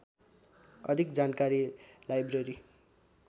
अधिक जानकारी लाइब्रेरी